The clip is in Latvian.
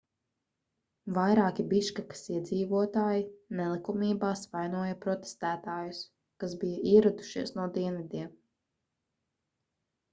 vairāki biškekas iedzīvotāji nelikumībās vainoja protestētājus kas bija ieradušies no dienvidiem